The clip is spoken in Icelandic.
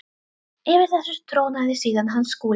Yfir þessu trónaði síðan hann Skúli.